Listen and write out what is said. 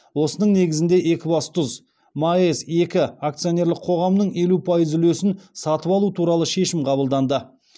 осының негізінде екібастұз маэс екі акционерлік қоғамының елу пайыз үлесін сатып алу туралы шешім қабылданды